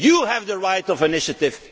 and Spain. You have the right of